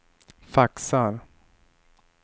faxar